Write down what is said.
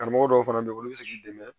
Karamɔgɔ dɔw fana bɛ yen olu bɛ se k'i dɛmɛ